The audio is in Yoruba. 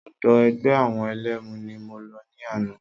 Ọ̀dọ̀ ẹgbẹ́ àwọn ẹlẹ́mu ni mo lọ ní àná.